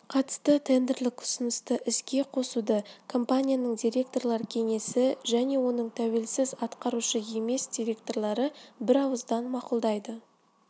қатысты тендерлік ұсынысты іске қосуды компанияның директорлар кеңесі және оның тәуелсіз атқарушы емес директорлары бірауыздан мақұлдайды